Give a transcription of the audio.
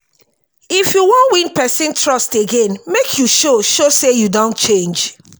if you wan win pesin trust again make you show show sey you don change.